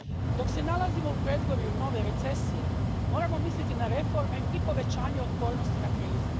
Dok se nalazimo u predvorju nove recesije, moramo misliti na reforme i povećanje otpornosti na krizu.